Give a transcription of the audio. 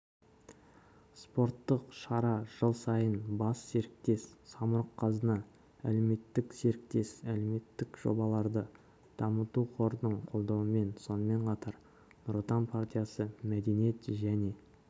спорттық шара жыл сайын бас серіктес самұрық-қазына әлеуметтік серіктес әлеуметтік жобаларды дамыту қорының қолдауымен сонымен қатар нұр отан партиясы мәдениет және